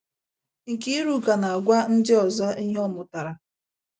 Nkiruka na - agwa ndị ọzọ ihe ọ mụtara